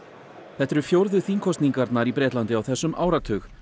þetta eru fjórðu þingkosningarnar á þessum áratug